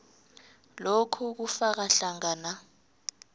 lokhu kufaka hlangana